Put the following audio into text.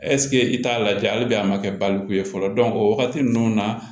ɛsike i t'a lajɛ hali bi a ma kɛ baloku ye fɔlɔ o wagati nunnu na